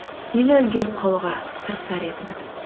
нені үлгеріп қалуға тырысар едіңіз